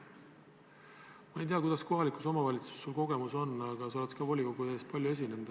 Ma ei tea, kuidas sul kohaliku omavalitsusega kogemust on, aga sa oled volikogu ees palju esinenud.